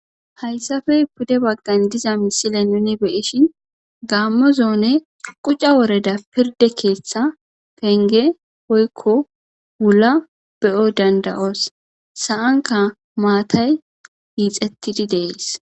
Hayssafe pude baggan diza misile nuni beeshin gaammo zoone quca woreda pirde keeththa penge poykko wulla beyo dandayos sa'anka maatay iixettidi dees.